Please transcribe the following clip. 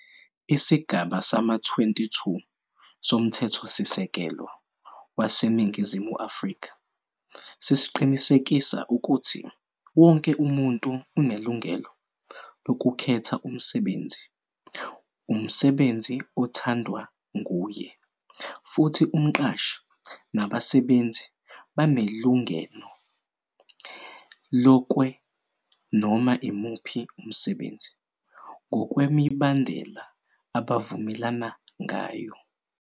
Isigaba sama-22 somthethosisekelo waseNingizimu Afrika sisqinisekisa ukuthi wonke umuntu unelungelo lokukhetha umsebenzi umsebenzi othandwa nguye, futhi umqashi nabasebenzi banelungeno lokwe noma imuphi umsebenzi, ngokwemibandela abavumelana ngayo.